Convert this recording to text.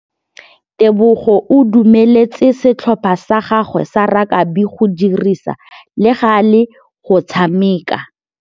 Tebogô o dumeletse setlhopha sa gagwe sa rakabi go dirisa le galê go tshameka.